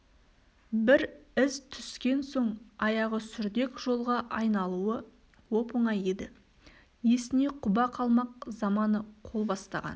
бір із түскен соң аяғы сүрдек жолға айналуы оп-оңай еді есіне құба қалмақ заманы қол бастаған